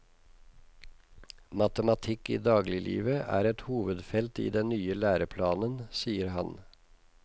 Matematikk i dagliglivet er et hovedfelt i den nye læreplanen, sier han.